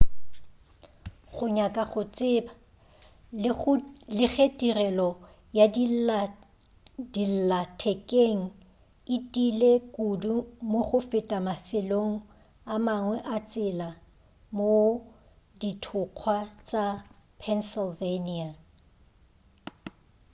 go nyaka go tseba le ge tirelo ya dillathekeng e tiile kudu mo go feta mafelong a mangwe a tsela mohl dithokgwa tša pennsylvania